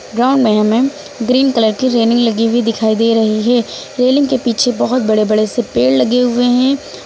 Ground में हमें green colour की रेलिंग लगी हुई दिखाई दे रही है। रेलिंग के पीछे बहोत बड़े बड़े पेड़ लगे हुए हैं।